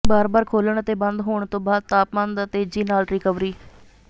ਬਾਰ ਬਾਰ ਖੋਲ੍ਹਣ ਅਤੇ ਬੰਦ ਹੋਣ ਤੋਂ ਬਾਅਦ ਤਾਪਮਾਨ ਦਾ ਤੇਜ਼ੀ ਨਾਲ ਰਿਕਵਰੀ